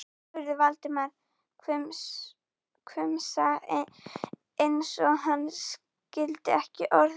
spurði Valdimar, hvumsa eins og hann skildi ekki orðin.